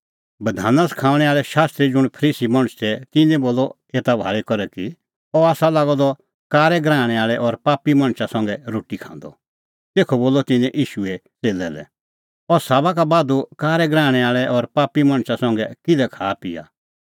बधाना सखाऊंणै आल़ै शास्त्री ज़ुंण फरीसी मणछ तै तिन्नैं बोलअ एता भाल़ी करै कि अह आसा लागअ द कारै गराहणै आल़ै और पापी मणछा संघै रोटी खांदअ तेखअ बोलअ तिन्नैं ईशूए च़ेल्लै लै अह साबा का बाधू कारै गराहणै आल़ै और पापी मणछा संघै किल्है खाआपिआ